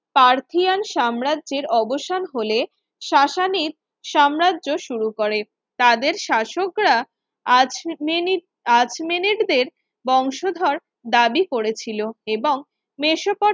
Parthian সাম্রাজ্যের অবসান হলে শাসানির সাম্রাজ্য শুরু করে তাদের শাসকরা আর্চমেনি আর্চমেনিরদের বংশধর দাবি করেছিল এবং মেসোপটে